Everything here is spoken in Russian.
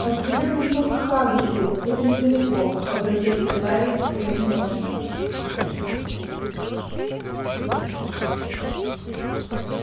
отведём его к хагриду это недалеко обратился гарри к гермионе